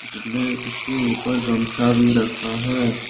उसने उसके ऊपर गमछा भी रखा है।